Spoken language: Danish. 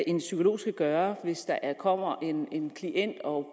en psykolog skal gøre hvis der kommer en klient og